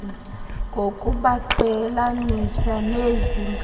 ngokubaqhelanisa nezi nkalo